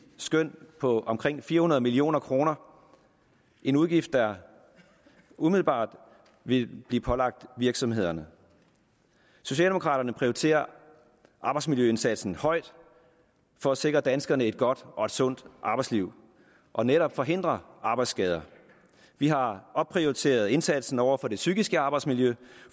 skøn på omkring fire hundrede million kroner en udgift der umiddelbart vil blive pålagt virksomhederne socialdemokraterne prioriterer arbejdsmiljøindsatsen højt for at sikre danskerne et godt og et sundt arbejdsliv og netop forhindre arbejdsskader vi har opprioriteret indsatsen over for det psykiske arbejdsmiljø